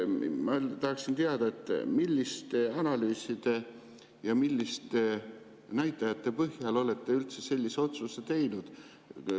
Ma tahaksin teada, milliste analüüside ja milliste näitajate põhjal te olete üldse sellise otsuse teinud.